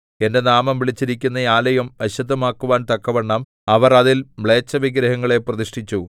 എന്റെ നാമം വിളിച്ചിരിക്കുന്ന ആലയം അശുദ്ധമാക്കുവാൻ തക്കവണ്ണം അവർ അതിൽ മ്ലേച്ഛവിഗ്രഹങ്ങളെ പ്രതിഷ്ഠിച്ചു